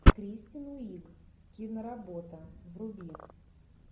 кристен уиг киноработа вруби